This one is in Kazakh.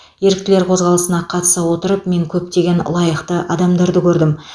еріктілер қозғалысына қатыса отырып мен көптеген лайықты адамдарды көрдім